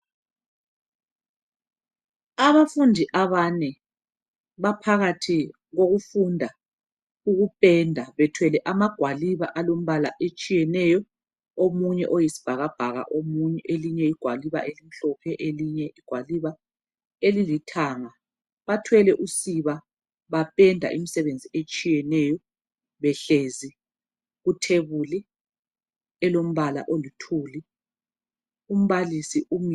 Abafundi abane baphakathi kokufunda ukupenda bethwele amagwaliba alombala etshiyeneyo omunye uyisibhakabhaka omunye elinye igwaliba elimhlophe elinye igwaliba elilithanga bathwele usiba bapenda imsebenzi etshiyeneyo behlezi kuthebuli elombala oluthuli. Umbalisi umi